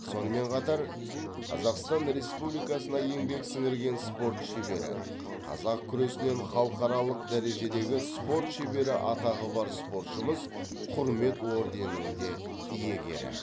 сонымен қатар қазақстан республикасына еңбек сіңірген спорт шебері қазақ күресінен халықаралық дәрежедегі спорт шебері атағы бар спортшымыз құрмет орденінің де иегері